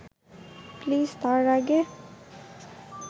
please তার আগে